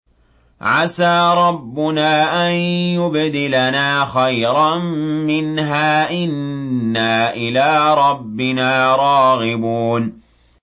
عَسَىٰ رَبُّنَا أَن يُبْدِلَنَا خَيْرًا مِّنْهَا إِنَّا إِلَىٰ رَبِّنَا رَاغِبُونَ